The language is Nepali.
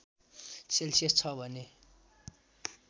सेल्सियस छ भने